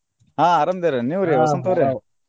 ಆಹ್ ಆರಾಮ ಅದೇವ್ರಿ ನೀವ್ರಿ ವಸಂತ ಅವ್ರೆ?